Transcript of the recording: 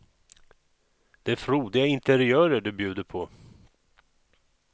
Det är frodiga interiörer du bjuder på.